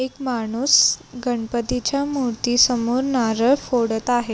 एक मानूस गणपतीच्या मूर्ती समोर नारळ फोडत आहे.